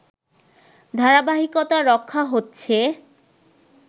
ধারাবাহিকতা রক্ষা হচ্ছে